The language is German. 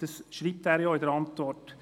Dies schreibt er ja in der Antwort.